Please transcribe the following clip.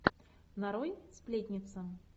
нарой сплетница